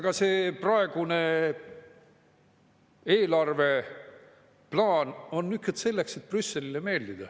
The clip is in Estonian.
Ka see praegune eelarveplaan on selleks, et Brüsselile meeldida.